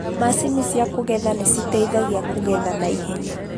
Mashini cia kũgetha nĩciteithagia kũgetha naihenya